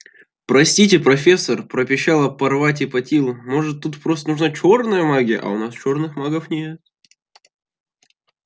простите профессор пропищала парвати патил может тут просто нужна чёрная магия а у нас чёрных магов нет